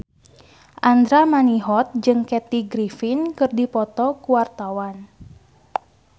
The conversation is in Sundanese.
Andra Manihot jeung Kathy Griffin keur dipoto ku wartawan